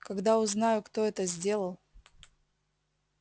когда узнаю кто это сделал